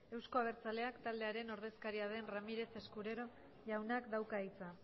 euzko abertzaleak taldearen ordezkaria den ramírez escudero jaunak dauka hitza